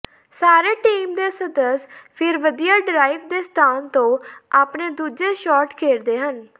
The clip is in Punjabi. ਸਾਰੇ ਟੀਮ ਦੇ ਸਦੱਸ ਫਿਰ ਵਧੀਆ ਡਰਾਇਵ ਦੇ ਸਥਾਨ ਤੋਂ ਆਪਣੇ ਦੂਜੇ ਸ਼ਾਟ ਖੇਡਦੇ ਹਨ